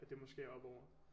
At det måske er oppe over